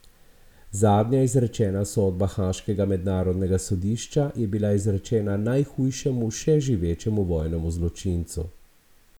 Zadnja izrečena sodba haaškega Mednarodnega sodišča je bila izrečena najhujšemu še živečemu vojnemu zločincu.